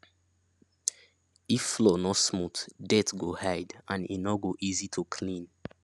if floor no smooth dirt go hide and e no go easy to clean